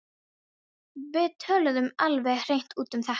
Við töluðum alveg hreint út um þetta.